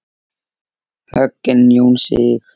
Hogginn Jón Sig.